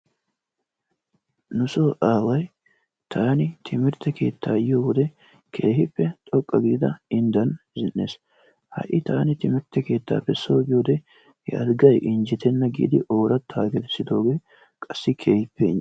Nusoo aaway taani timmirtte keettaa yiyowode keehippe xoqqu giida inddan zin"iis. Ha'i taani timmirtte keettaappe soo yiyode he alggay injjettenna giidi ooratta gelssiddooge qassi keehippe inje.